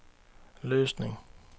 Løsning